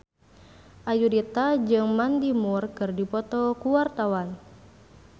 Ayudhita jeung Mandy Moore keur dipoto ku wartawan